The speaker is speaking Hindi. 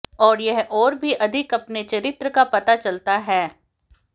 और यह और भी अधिक अपने चरित्र का पता चलता है है